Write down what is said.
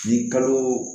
Ni kalo